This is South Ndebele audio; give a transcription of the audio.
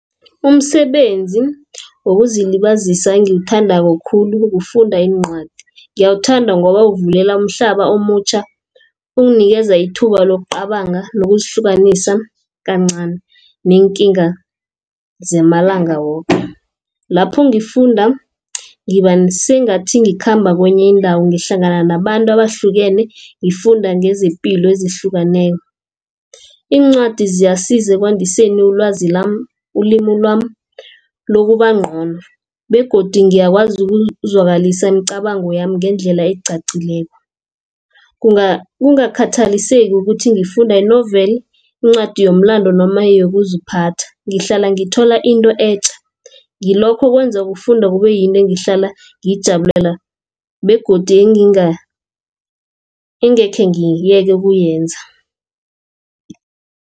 Umsebenzi wokuzilibazisa engiwuthandako khulu kufunda iincwadi. Ngiyawuthanda ngoba uvulela umhlaba omutjha unginikeza ithuba lokucabanga nokuzihlukanisa kancani neenkinga zamalanga woke. Lapho ngifunda ngiba sengathi ngikhamba kwenye indawo ngihlangana nabantu abahlukene ngifunda ngezepilo ezihlukeneko. Iincwadi ziyasiza ekwandiseni ulwazi lami, ulimi lwami lokuba ngcono begodu ngiyakwazi ukuzwakalisa imicabango yami ngendlela ecacileko. Kungakhathaliseki ukuthi ngifunda i-novel incwadi yomlando noma yokuziphatha. Ngihlala ngithola into etja ngilokho okwenza ukufunda kube yinto engihlala ngiyijabulela begodu engekhe ngiyeke ukuyenza.